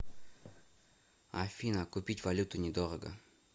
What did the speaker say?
афина купить валюту недорого